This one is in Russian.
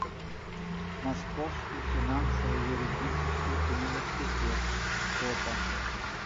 московский финансово юридический университет фото